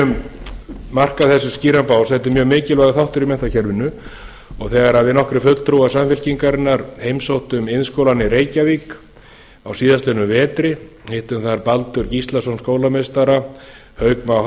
viljum marka þessu skýran bás þetta er mjög mikilvægur þáttur í menntakerfinu þegar við nokkrir fulltrúar samfylkingarinnar heimsóttum iðnskólann í reykjavík á síðastliðnum vetri hittum þar baldur gíslason skólameistara hauk má